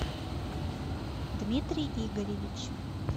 дмитрий игоревич